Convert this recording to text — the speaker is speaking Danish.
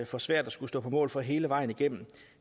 for svært at skulle stå på mål for det hele vejen igennem